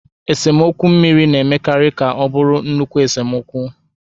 Esemokwu mmiri na-emekarị ka ọ bụrụ nnukwu esemokwu.